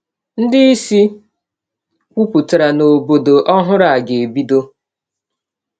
Ndị isi kwupụtara na “obodo” ọhụrụ a ga-ebido.